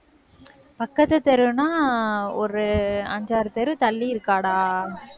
பக்கத்து தெருன்னா ஒரு அஞ்சாறு தெரு தள்ளி இருக்காடா.